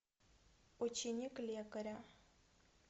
ученик лекаря